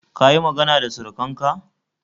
Kayi magana da surukanka?